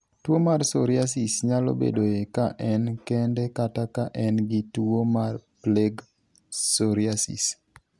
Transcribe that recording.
Tuwo mar psoriasis nyalo bedoe ka en kende kata ka en gi tuwo mar plaque psoriasis.